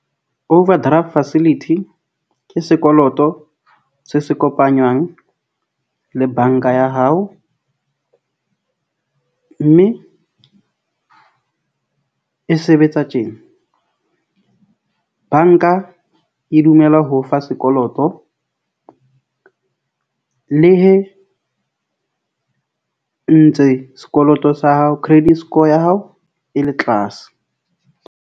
Overdraft facility ke sekoloto se se kopanywang le bank-a ya hao, mme e sebetsa tjena bank-a e dumela ho o fa sekoloto le hee ntse sekoloto sa hao, credit score ya hao e le tlase.